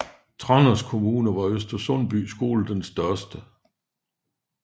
Tranders kommune var Øster Sundby skole den største